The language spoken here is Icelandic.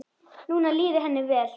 Núna líður henni vel.